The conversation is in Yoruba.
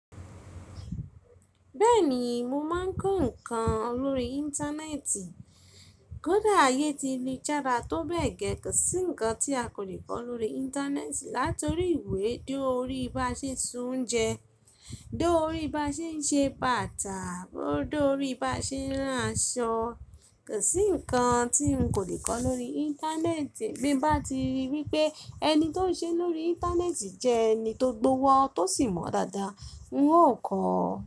Bẹ́ẹ̀ni mò mọ̀ n kọ ǹkan lórí Íńtánẹ́ẹ̀tì. Kódà ayé ti lu jára tó bẹ́ẹ̀ gẹ́ kò sí ǹkan tí a kò ní kọ lórí Íńtánẹ́ẹ̀tì. Látọ̀rí ìwé, dóri bá ṣe sè soún jẹ, dóri bá ṣe n ṣe bàtà, bó dóri bá ṣe n rán aṣọ kò sí ǹkan tí n kò ní kọ lórí Íńtánẹ́ẹ̀tì. Bín bá ti rí wípé ẹni tó ń ṣe lórí Íńtánẹ́ẹ̀tì jẹ́ ẹni tó gbówọ́, tó sì mọ̀ dáadáa n ó kọ.